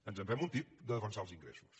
ens en fem un tip de defensar els ingressos